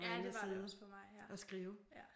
Ja det var det også for mig ja